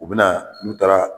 U bɛna n'u taara